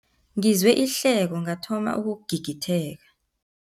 Ngizwe ihleko ngathoma ukugigitheka.